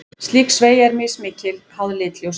Slík sveigja er mismikil, háð lit ljóssins.